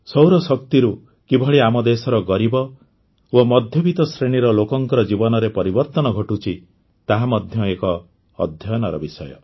ସୌରଶକ୍ତିରୁ କିଭଳି ଆମ ଦେଶର ଗରିବ ଓ ମଧ୍ୟବିତ ଶ୍ରେଣୀର ଲୋକଙ୍କ ଜୀବନରେ ପରବର୍ତ୍ତନ ଘଟୁଛି ତାହା ମଧ୍ୟ ଏକ ଅଧ୍ୟୟନର ବିଷୟ